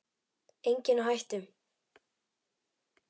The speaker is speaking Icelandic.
Enginn á hættu.